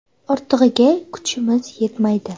Ortig‘iga kuchimiz yetmaydi.